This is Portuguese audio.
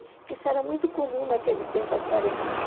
Que isso era muito comum naquele tempo, a serenata.